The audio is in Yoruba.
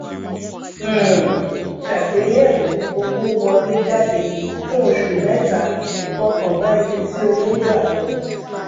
um ṣàgbéyẹwò owówọléjáde fún oṣù mẹta fọkàn bá ibi tí owó gbà lọ